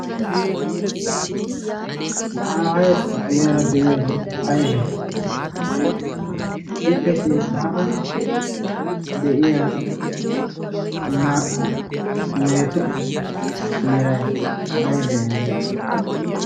Ha aayeeppe guyeera de"iyaagee ayibe? Ippe sinttaara de'iya naa"u mehetu meray aybee? aybee?